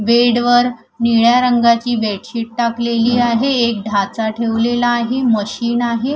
Bed वर निळ्या रंगाची बेडशीट टाकलेली आहे. एक ढाचा ठेवलेला आहे. मशीन आहे.